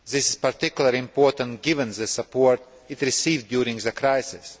This is particularly important given the support it received during the crisis.